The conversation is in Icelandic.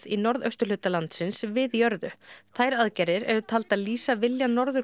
í norðausturhluta landsins við jörðu þær aðgerðir eru taldar lýsa vilja Norður